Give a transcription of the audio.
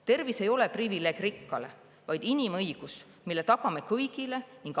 Tervis ei ole privileeg rikkale, vaid inimõigus, mille tagame kõigile.